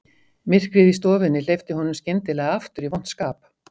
Myrkrið í stofunni hleypti honum skyndilega aftur í vont skap